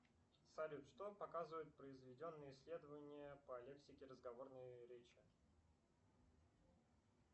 салют что показывают произведенные исследования по лексике разговорной речи